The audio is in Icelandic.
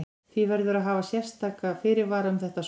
Því verður að hafa sérstaka fyrirvara um þetta svar.